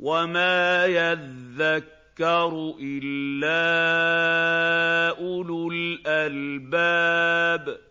وَمَا يَذَّكَّرُ إِلَّا أُولُو الْأَلْبَابِ